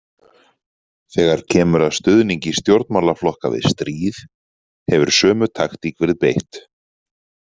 Þegar kemur að stuðningi stjórnmálaflokka við stríð hefur sömu taktík verið beitt.